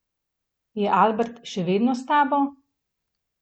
Je Albert še vedno s tabo?